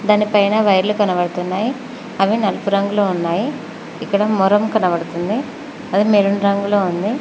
దానిపైన వైర్లు కనబడుతున్నాయ్ అవి నలుపు రంగులో ఉన్నాయి ఇక్కడ మొరం కనబడుతుంది అది మెరూన్ రంగులో ఉంది.